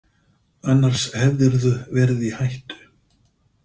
Annars hefðirðu verið í hættu.